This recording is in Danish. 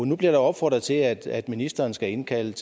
nu bliver der opfordret til at at ministeren skal indkalde